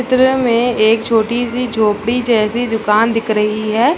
चित्र में एक छोटी सी झोपड़ी जैसी दुकान दिख रही है।